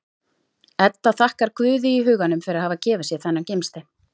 Edda þakkar Guði í huganum fyrir að hafa gefið sér þennan gimstein.